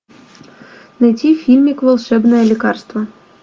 найти фильмик волшебное лекарство